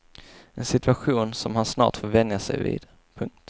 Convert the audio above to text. En situation som han snart får vänja sig vid. punkt